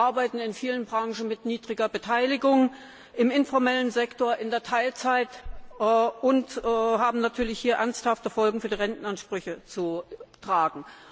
Sie arbeiten in vielen Branchen mit niedriger Beteiligung, im informellen Sektor, in Teilzeit und haben hier natürlich ernsthafte Folgen für die Rentenansprüche zu tragen.